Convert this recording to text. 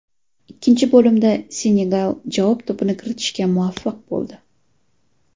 Ikkinchi bo‘limda Senegal javob to‘pini kiritishga muvaffaq bo‘ldi.